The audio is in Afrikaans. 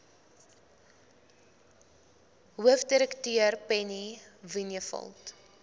hoofdirekteur penny vinjevold